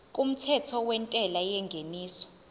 kumthetho wentela yengeniso